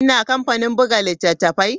Ina kamfanin buga littattafai?